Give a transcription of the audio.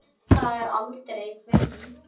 Það er aldrei frí.